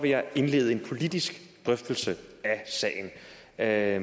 jeg indlede en politisk drøftelse af